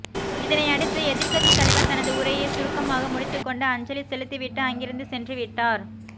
இதனையடுத்து எதிர்க்கட்சி தலைவர் தனது உரையை சுருக்கமாக முடித்துக்கொண்டு அஞ்சலி செலுத்திவிட்டு அங்கிருந்து சென்றுவிட்டார்